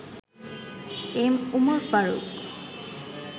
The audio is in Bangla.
এম. উমর ফারুক